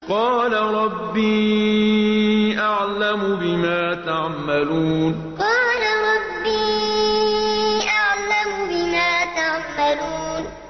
قَالَ رَبِّي أَعْلَمُ بِمَا تَعْمَلُونَ قَالَ رَبِّي أَعْلَمُ بِمَا تَعْمَلُونَ